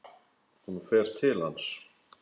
Hún fer til hans.